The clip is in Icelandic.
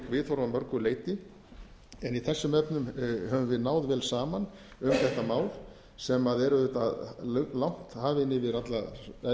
viðhorf að mörgu leyti en í þessum efnum höfum við náð vel saman um þetta mál sem er auðvitað langt hafið